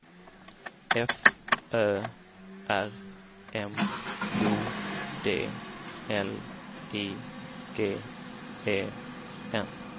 F Ö R M O D L I G E N